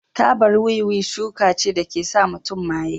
Tabar wiwi shuka ce da ke sa mutum maye.